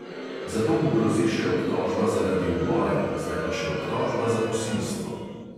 Zato mu grozi še obtožba zaradi uboja, zdaj pa še obtožba za posilstvo.